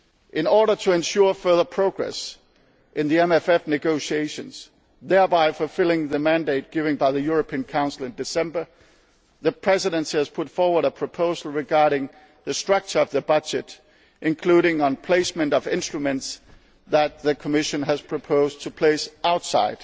the Council and Parliament. In order to ensure further progress in the MFF negotiations, thereby fulfilling the mandate given by the European Council in December, the Presidency has put forward a proposal regarding the structure of the budget, including the placement of instruments that the Commission